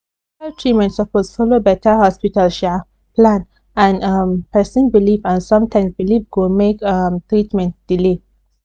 hospital treatment suppose follow better hospital um plan and um person belief and sometimes belief go make um treatment delay